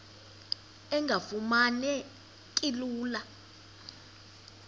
engafuma neki lula